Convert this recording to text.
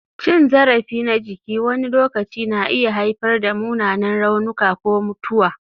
Cin zarafi na jiki wani lokaci na iya haifar da munanan raunuka ko mutuwa.